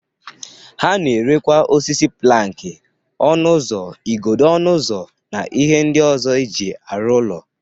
Ha na-erekwa osisi planki, ọnụ ụzọ, igodo ọnụ ụzọ, na ihe ndị ọzọ e jị arụ ụlọ.